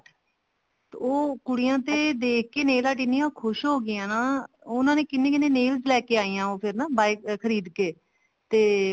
ਤੇ ਉਹ ਕੁੜੀਆਂ ਤੇ ਦੇਖ ਕੇ nail art ਇੰਨੀਆਂ ਖੁਸ਼ ਹੋਗੀਆਂ ਨਾ ਉਹਨਾ ਨੇ ਕਿੰਨੀ ਕਿੰਨੀ nail ਲੈਕੇ ਆਈਆਂ ਫ਼ੇਰ ਨਾ ਉਹ buy ਖਰੀਦ ਕੇ ਤੇ